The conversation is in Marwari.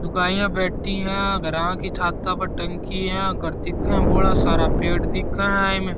लुगाईया बैठी है घरा की छाता पर टंकी है घर दिखे है बड़ा सारा पेड़ दिखे है इमे --